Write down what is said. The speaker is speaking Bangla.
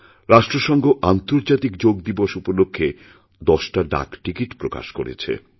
রাষ্ট্রসঙ্ঘ আন্তর্জাতিক যোগ দিবস উপলক্ষে দশটা ডাকটিকিট প্রকাশ করেছে